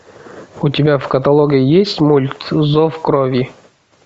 у тебя в каталоге есть мульт зов крови